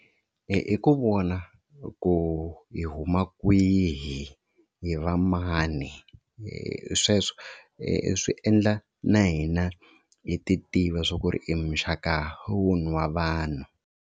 Hi ku vona ku hi huma kwihi, hi va mani sweswo swi endla na hina hi titiva swa ku ri i muxaka wihi wa vanhu.